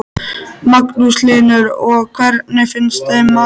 Magnús Hlynur: Og hvernig finnst þeim maturinn?